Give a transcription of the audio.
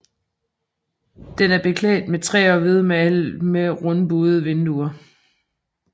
Den er beklædt med træ og hvidmalet med rundbuede vinduer